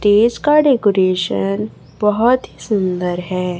Stage का decoration बहोत ही सुन्दर है।